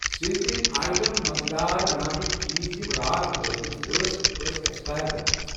seasoning item مزٕدار بناونٕکۍ چیٖزیِم راتھ وٲتمٕتۍ ٲسۍ، ٲسۍ ایٚکسپایر گٔمٕتۍ